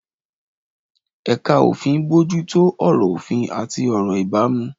Ẹ̀ka òfin ń bójú tó ọ̀rọ̀ òfin àti ọ̀rọ̀ ìbámu.